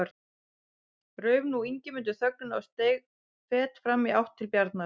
Rauf nú Ingimundur þögnina og steig fet fram í átt til Bjarnar.